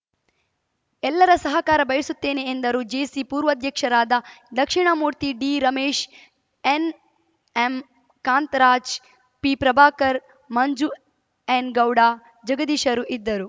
ಎಲ್ಲರ ಸಹಕಾರ ಬಯಸುತ್ತೇನೆ ಎಂದರು ಜೇಸಿ ಪೂರ್ವಾಧ್ಯಕ್ಷರಾದ ದಕ್ಷಿಣಾಮೂರ್ತಿ ಡಿರಮೇಶ್‌ ಎನ್‌ಎಂ ಕಾಂತರಾಜ್‌ ಪಿಪ್ರಭಾಕರ್‌ ಮಂಜು ಎನ್‌ ಗೌಡ ಜಗದೀಶರು ಇದ್ದರು